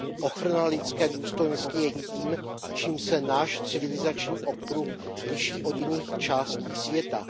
Ochrana lidské důstojnosti je tím, čím se náš civilizační okruh liší od jiných částí světa.